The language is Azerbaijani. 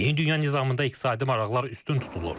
Yeni dünya nizamında iqtisadi maraqlar üstün tutulur.